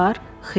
Pulun var?